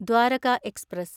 Dwarka express